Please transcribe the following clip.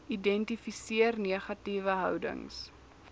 identifiseer negatiewe houdings